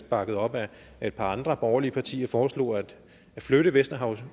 bakket op af et par andre borgerlige partier foreslog at flytte vesterhav